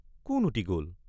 কোন উটি গল?